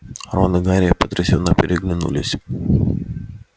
рон и гарри потрясенно переглянулись